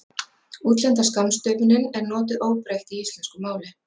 útlenda skammstöfunin er notuð óbreytt í íslensku máli